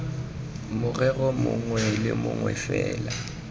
morero mongwe le mongwe fela